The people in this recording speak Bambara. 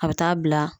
A bɛ taa bila